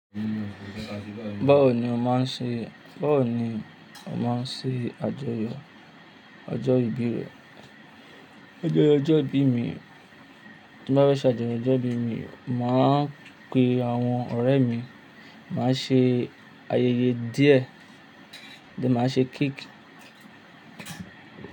Báwo ni ó máa ń ṣe, báwo ni ó máa ń ṣe àjọyọ̀ ọjọ́ ìbí rẹ? Àjọyọ̀ ọjọ́ ìbí mi, tí n bá fẹ ṣe ajọyọ̀ ọjọ́ ìbí mi, màá pe àwọn ọ̀rẹ́ mi, màá ṣe ayẹyẹ díẹ̀, then máa ṣe cake.